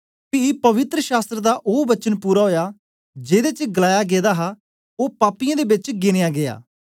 पी पवित्र शास्त्र दा ओ वचन पूरा ओया जेदे च गलाया गेदा हा ओ पापियें दे बेच गिन्या गीया